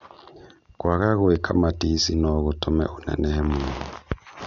kwaga gwĩka matici nô gũtũme ũnenehe mũno